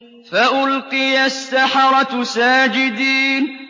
فَأُلْقِيَ السَّحَرَةُ سَاجِدِينَ